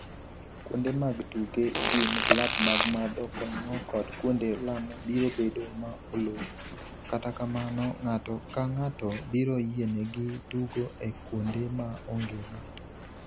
Kuonde mag tuke, gym, klab mag madho kong’o kod kuonde lamo biro bedo ma olor, kata kamano, ng’ato ka ng’ato biro yienegi tugo e kuonde ma onge ng’ato.